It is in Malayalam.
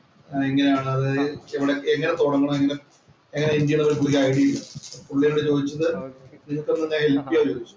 എങ്ങനെയാണ് അത് എവടെ എങ്ങനെ തൊടങ്ങണം ഒരു ഐഡിയ ഇല്ല. പുള്ളി എന്നോട് ചോദിച്ചത് നിനക്ക് എന്നേ ഹെല്‍പ്പ് ചെയ്യാമോ എന്ന് ചോദിച്ചു.